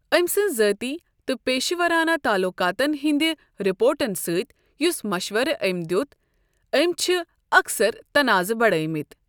أمۍ سٕنٛز ذٲتی تہٕ پیشہٕ ورانہٕ تعلقاتَن ہٕنٛدِ رپورٹَن سۭتۍ یُس مشورٕ أمۍ دِیُت أمۍ چھِ اَکثر تنازٕ بڑٲمٕتۍ۔